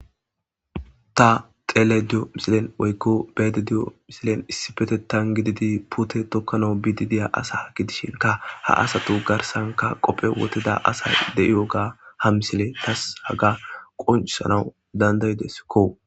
Ta xeelayda di'ewu misile woyko be'ayda de'iwu misile issipetetan gididi puuteta Toka awu biidi de'iya asa gidishinka ha asatu garsanka qophe wothida de'iwoga ha misile tas haga qochisanawu danda'idesko.